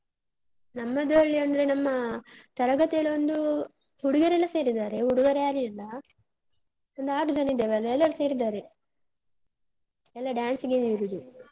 ನಮ್ಮದ್ರಲ್ಲಿ ಅಂದ್ರೆ ನಮ್ಮ ತರಗತಿಯಲ್ಲೊಂದು ಹುಡುಗಿಯರೆಲ್ಲ ಸೇರಿದ್ದಾರೆ, ಹುಡುಗರು ಯಾರು ಇಲ್ಲ. ಒಂದು ಆರು ಜನ ಇದ್ದೆವಲ್ಲ ಎಲ್ಲರೂ ಸೇರಿದ್ದಾರೆ. ಎಲ್ಲಾ dance ಗೆನೆ ಇರುದು.